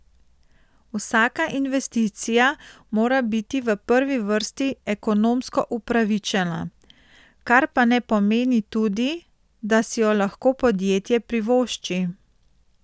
Vsaka investicija mora biti v prvi vrsti ekonomsko upravičena, kar pa ne pomeni tudi, da si jo lahko podjetje privošči.